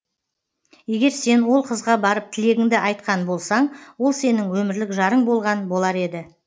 егер сен ол қызға барып тілегіңді айтқан болсаң ол сенің өмірлік жарың болған болар еді